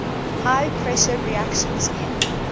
high pressure reactions near